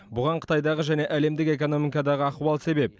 бұған қытайдағы және әлемдік экономикадағы ахуал себеп